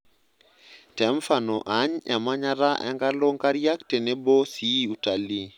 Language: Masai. Temfano aany emnayata enkalo nkariak tenebo si utalii.